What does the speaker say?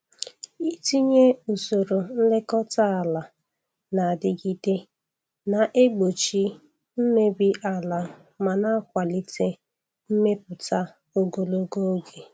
Itinye usoro nlekọta ala na-adigide na-egbochi mmebi ala ma na-akwalite mmepụta ogologo oge.